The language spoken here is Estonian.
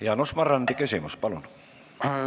Jaanus Marrandi küsimus, palun!